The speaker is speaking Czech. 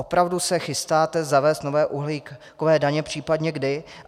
Opravdu se chystáte zavést nové uhlíkové daně, případně kdy?